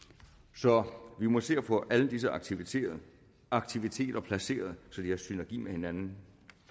så vi må se at få alle disse aktiviteter aktiviteter placeret så de er i synergi med hinanden